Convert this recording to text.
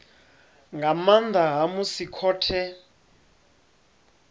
nga nnḓa ha musi khothe